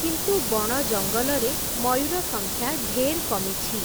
କିନ୍ତୁ ବଣଜଙ୍ଗଲରେ ମୟୂର ସଂଖ୍ୟା ଢ଼େର୍ କମିଛି ।